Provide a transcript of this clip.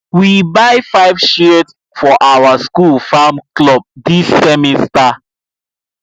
we buy five shears for our school farm club this semester